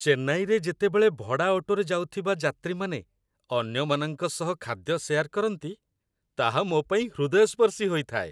ଚେନ୍ନାଇରେ ଯେତେବେଳେ ଭଡ଼ା ଅଟୋରେ ଯାଉଥିବା ଯାତ୍ରୀମାନେ ଅନ୍ୟମାନଙ୍କ ସହ ଖାଦ୍ୟ ସେୟାର୍ କରନ୍ତି, ତାହା ମୋପାଇଁ ହୃଦୟସ୍ପର୍ଶୀ ହୋଇଥାଏ।